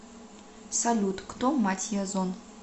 салют кто мать язон